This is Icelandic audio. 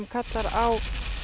kallar á